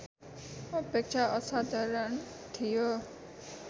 अपेक्षा असाधारण थियो